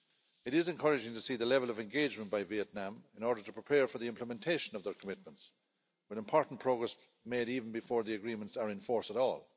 It is encouraging to see the level of engagement by Vietnam in order to prepare for the implementation of their commitments, with important progress made even before the agreements are in force at all.